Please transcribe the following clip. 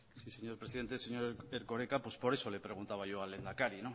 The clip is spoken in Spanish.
sí señor presidente señor erkoreka pues por eso le preguntaba yo al lehendakari